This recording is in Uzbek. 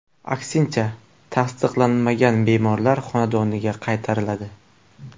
Aksincha, tasdiqlanmagan bemorlar xonadoniga qaytariladi.